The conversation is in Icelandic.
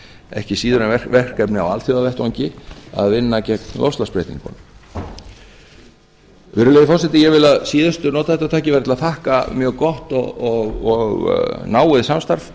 ekki síður en verkefni á alþjóðavettvangi að vinna gegn loftslagsbreytingunum virðulegi forseti ég vil að síðustu nota þetta tækifæri til að þakka mjög gott og náið samstarf